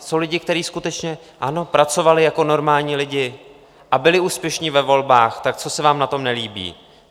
Jsou lidi, kteří skutečně, ano, pracovali jako normální lidi a byli úspěšní ve volbách, tak co se vám na tom nelíbí?